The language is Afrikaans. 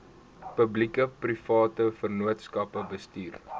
publiekeprivate vennootskappe bestuur